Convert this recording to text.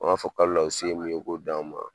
u b'a fɔ kalo la u se ye mun ye u k'o di an ma